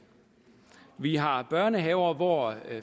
vi har børnehaver hvor